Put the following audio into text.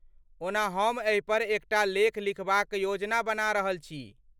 ओना ,हम एहिपर एक टा लेख लिखबाक योजना बना रहल छी।